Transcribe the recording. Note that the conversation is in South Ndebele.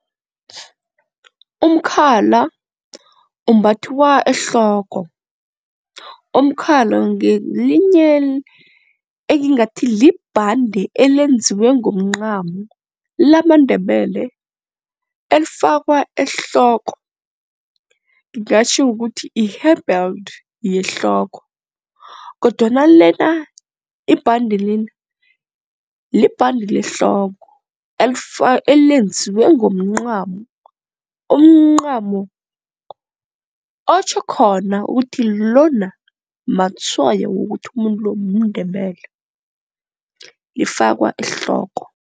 Umkhala umbathwa ehloko, umkhala ngelinye engingathi libhande elenziwe ngomncamo lamaNdebele elifakwa ehloko. Ngingatjho ukuthi i-hair belt yehloko kodwana lena ibhande lena libhande lehloko elenziwe ngomncamo, umncamo otjho khona ukuthi lona matshwayo wokuthi umuntu lona mNdebele lifakwa ehloko.